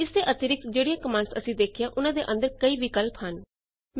ਇਸ ਦੇ ਅਤਿਰਿਕਤ ਜਿਹੜੀਆਂ ਕਮਾੰਡਸ ਅਸੀਂ ਦੇਖੀਆਂ ਉਨਾਂ ਦੇ ਅੰਦਰ ਕਈ ਵਿਕਲਪ ਹਨ